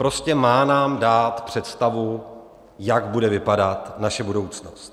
Prostě má nám dát představu, jak bude vypadat naše budoucnost.